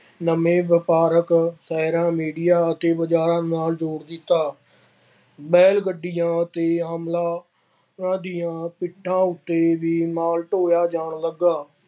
ਨਵੇਂ ਵਪਾਰਕ ਸ਼ਹਿਰਾਂ, ਮੀਡੀਆ ਅਤੇ ਬਾਜ਼ਾਰਾਂ ਨਾਲ ਜੋੜ ਦਿੱਤਾ। ਬੈ਼ਲ ਗੱਡੀਆਂ ਅਤੇ ਦੀਆਂ ਪਿੱਠਾਂ ਉੱਤੇ ਵੀ ਮਾਲ ਢੋਇਆ ਜਾਣ ਲੱਗਾ।